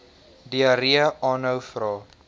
diarree aanhou vra